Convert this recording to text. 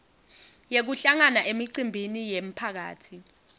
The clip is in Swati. yekuhlangana emicimbini yemphakatsi